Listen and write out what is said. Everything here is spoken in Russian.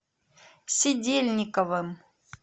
сидельниковым